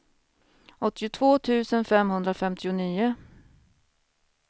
åttiotvå tusen femhundrafemtionio